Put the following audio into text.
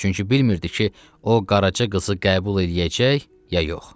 Çünki bilmirdi ki, o qaraçı qızı qəbul eləyəcək ya yox.